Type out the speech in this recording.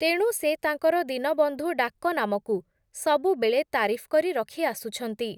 ତେଣୁ ସେ ତାଙ୍କର ଦୀନବନ୍ଧୁ ଡାକ ନାମକୁ, ସବୁବେଳେ ତାରିଫ୍ କରି ରଖି ଆସୁଛନ୍ତି ।